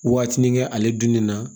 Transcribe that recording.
Waatinin kɛ ale dunni na